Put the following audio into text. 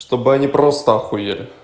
чтобы они просто ахуели